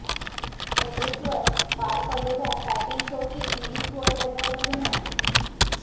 एव्हरेस्टवर पार पडलेल्या फॅशन शोची गिनीज वर्ल्ड रेकॉर्डमध्ये नोंद